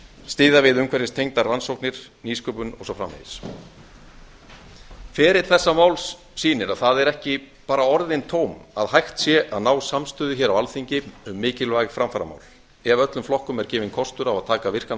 styðja við umhverfistengdar rannsóknir nýsköpun og svo framvegis ferill þessa máls sýnir að það eru ekki bara orðin tóm að hægt sé að ná samstöðu hér á alþingi um mikilvæg framfaramál ef öllum flokkum er gefinn kostur á að taka virkan